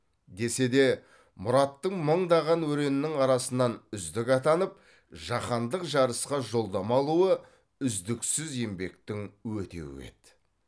десе де мұраттың мыңдаған өреннің арасынан үздік атанып жаһандық жарысқа жолдама алуы үздіксіз еңбектің өтеуі еді